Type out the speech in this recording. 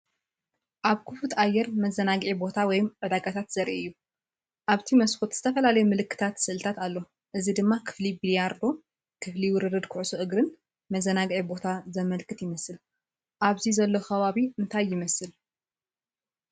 ኣብ ክፉት ኣየር መዘናግዒ ቦታ ወይ ዕዳጋታት ዘርኢ እዩ። ኣብቲ መስኮት ዝተፈላለየ ምልክታትን ስእልታትን ኣሎ፣ እዚ ድማ ክፍሊ ቢልያርዶ፣ ክፍሊ ውርርድ ኩዕሶ እግሪን መዘናግዒ ቦታን ዘመልክት ይመስል። ኣብዚ ዘሎ ከባቢ እንታይ ይመስል?